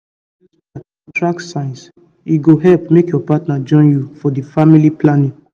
if you dey use chart to track signs e go help make your partner join you for the family plan